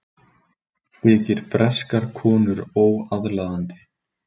Þykir breskar konur óaðlaðandi